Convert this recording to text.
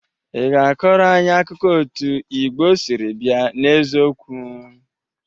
Ị ga-akọrọ anyị akụkọ otu Igbo siri bịa n'eziokwu?